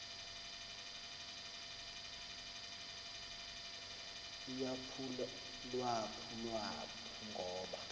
uyaphulwaphu lwa ngoba